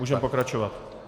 Můžeme pokračovat.